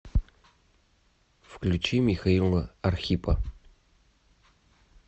включи михаила архипа